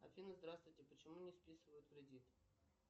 афина здравствуйте почему не списывают кредит